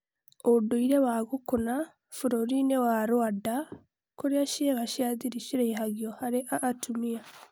ũndũire wa ' gukuna' bũrũri-nĩ wa Rwanda kũrĩa ciĩga cĩa thĩri ciraihagio harĩ a atũmia